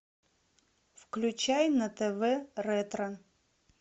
включай на тв ретро